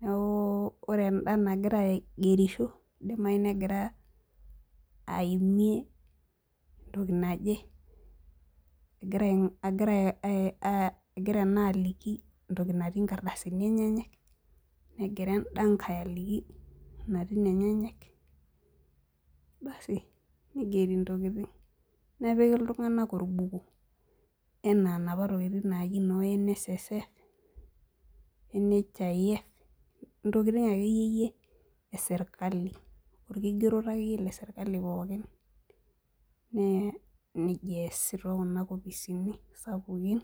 neeku ore enda nagira aigerisho, idimayu negira aimie toki naje. Egira naa aimie toki naje nigira enda ngae aigerisho nepiki iltung'anak orbuku enaa enajo sirkali.